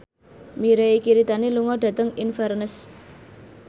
Mirei Kiritani lunga dhateng Inverness